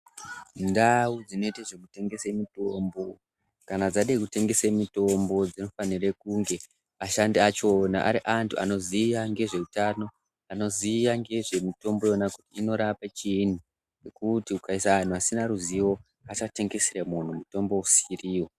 Ndawo dzinoite zvekutengese mitombo ,kana dzada kutengese mitimbo dzinofanire kunge ashandi achona ari antu anoziva nezve hutano, anoziva ngezvemitombo yona kuti inorape chii ,nekuti ukisa vanhu vasina ruzivo vasatengesera munhu mitombo isiriyo.